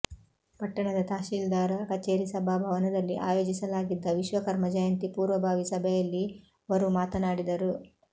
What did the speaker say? ಪಟ್ಟಣದ ತಹಶೀಲ್ದಾರ ಕಛೇರಿ ಸಭಾ ಭವನದಲ್ಲಿಆಯೋಜಿಸಲಾಗಿದ್ದ ವಿಶ್ವಕರ್ಮಜಯಂತಿ ಪೂರ್ವಬಾವಿ ಸಭೆಯಲ್ಲಿ ವರು ಮಾತನಾಡಿದರು